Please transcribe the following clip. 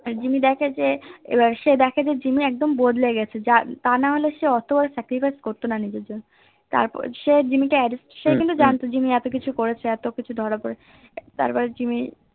জিম্মি দেখে যে এবার সে দেখে যে জিম্মি একদম বদলে গাছে তা নাহয় সে অটো বোরো Sacrifice করতোনা নিজের জন্যে তার পর সে জিম্মি কে সে কিন্তু জানতো জিম্মতী এত কিছু করেসহ এত ধরা পড়েছে তারপরে জিম্মি